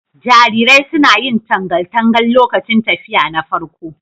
Jarirai suna yin tangal tangal lokacin tafiya na farko.